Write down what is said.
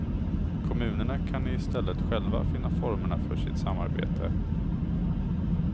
Kommunerna kan i stället själva finna formerna för sitt samarbete.